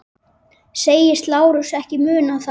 Segist Lárus ekki muna það.